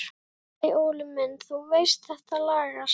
Nei nei Óli minn, þú veist þetta lagast.